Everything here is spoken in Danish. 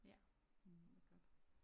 Ja det er godt